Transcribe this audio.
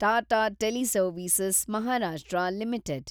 Tata teleservices (Maharashtra) limited